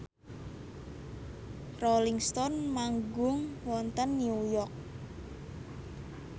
Rolling Stone manggung wonten New York